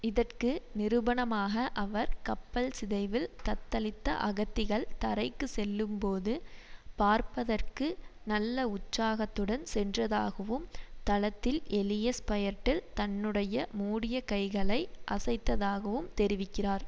இதற்கு நிரூபணமாக அவர் கப்பல்சிதைவில் தத்தளித்த அகத்திகள் தரைக்குச் செல்லும்போது பார்ப்பதற்கு நல்ல உற்சாகத்துடன் சென்றதாகவும் தளத்தில் எலிய ஸ்பயெர்டெல் தன்னுடைய மூடிய கைககளை அசைத்ததாகவும் தெரிவிக்கிறார்